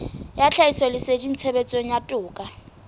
ya tlhahisoleseding tshebetsong ya toka